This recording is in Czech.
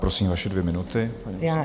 Prosím, vaše dvě minuty.